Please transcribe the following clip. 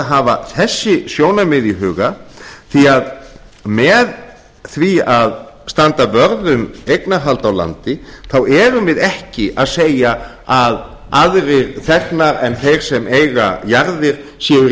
hafa þessi sjónarmið í huga því með því að standa vörð um eignarhald á landi þá erum við ekki að segja að aðrir þegnar en þeir sem eiga jarðir séu